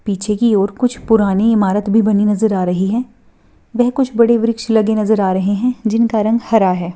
पीछे की ओर कुछ पुरानी इमारत भी बनी नजर आ रही है वह कुछ बड़े वृक्ष लगे नजर आ रहे है जिनका रंग हरा है।